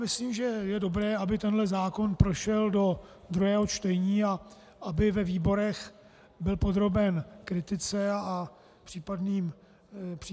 Myslím, že je dobré, aby tento zákon prošel do druhého čtení a aby ve výborech byl podroben kritice a případným změnám.